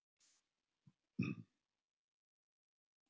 Hann ætlar ekki að sætta sig við raunveruleikann og leggur mig í einelti.